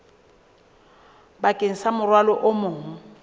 bakeng sa morwalo o mong